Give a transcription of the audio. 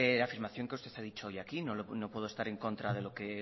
la afirmación que usted ha dicho hoy aquí no puedo estar en contra de lo que